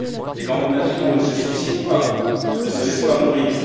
Les grandes nations ne se suicident pas, ne se laissent pas mourir.